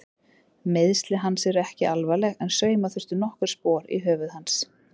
Meiðsli hans eru ekki alvarleg en sauma þurfti nokkur spor í höfuð hans.